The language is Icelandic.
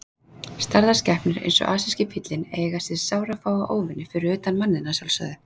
Stærðar skepnur eins og asíski fíllinn eiga sér sárafáa óvini, fyrir utan manninn að sjálfsögðu.